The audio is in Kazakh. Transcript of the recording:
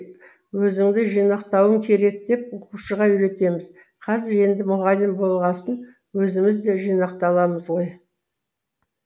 өзіңді жинақтауың керек деп оқушыға үйретеміз қазір енді мұғалім болғасын өзіміз де жинақталамыз ғой